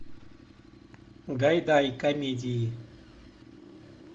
гайдай комедии